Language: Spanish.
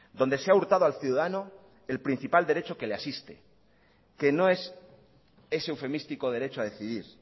donde se ha hurtado al ciudadano el principal derecho que le asiste que no es ese eufemístico derecho a decidir